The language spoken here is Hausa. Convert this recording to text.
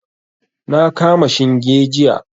Na kama shinge jiya.